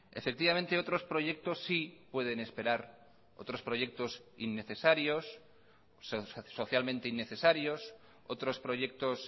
efectivamente otros proyectos sí pueden esperar otros proyectos innecesarios socialmente innecesarios otros proyectos